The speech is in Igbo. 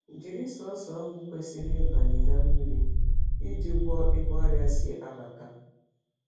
Jiri sọsọ ogwu kwesiri igbanye na mmiri iji gwọ ebe ọrịa si abata